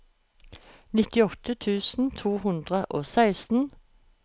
nittiåtte tusen to hundre og seksten